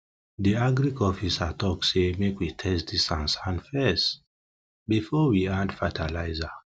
de agric officer talk say make we test de fess before we add fertilizer